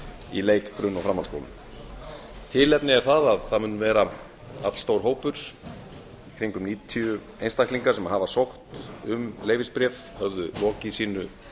í leik grunn og framhaldsskóla tilefnið er að það mun vera allstór hópur í kringum níutíu einstaklingar sem höfðu sótt um leyfisbréf höfðu lokið sínu